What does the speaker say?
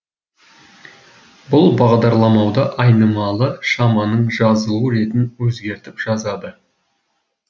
бұл бағдарламалауда айнымалы шаманың жазылу ретін өзгертіп жазады